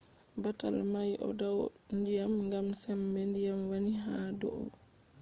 batal mai o dau ndyiam gam sembe diyam wani ha dou